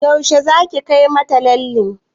Yaushe zaki kai mata lallen?